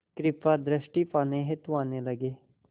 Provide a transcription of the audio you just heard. कृपा दृष्टि पाने हेतु आने लगे